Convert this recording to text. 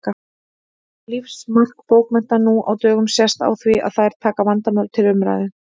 Lífsmark bókmennta nú á dögum sést á því að þær taka vandamál til umræðu.